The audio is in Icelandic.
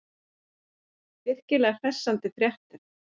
Virkilega hressandi fréttir.